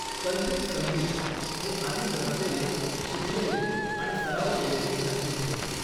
कल्पित संगीत हे आधीच रचलेले, शिकलेले आणि सराव केलेले संगीत होय.